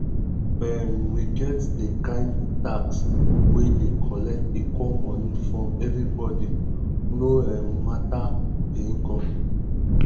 um we get di kind tax wey dey collect equal money from every body no um matter di income